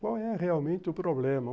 Qual é realmente o problema?